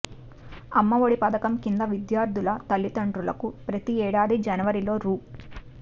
అమ్మఒడి పథకం కింద విద్యార్థుల తల్లిదండ్రులకు ప్రతి ఏడాది జనవరిలో రూ